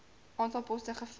aantal poste gevul